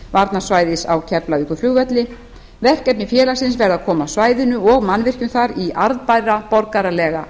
varnarsvæðis á keflavíkurflugvelli verkefni félagsins verði að koma svæðinu og mannvirkjum þar í arðbæra borgaralega